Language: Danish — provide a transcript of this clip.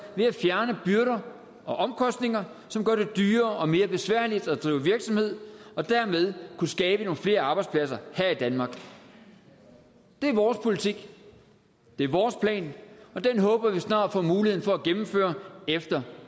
ved at fjerne byrder og omkostninger som gør det dyrere og mere besværligt at drive virksomhed og derved kunne skabe nogle flere arbejdspladser her i danmark det er vores politik det er vores plan og den håber vi snart at få muligheden for at gennemføre efter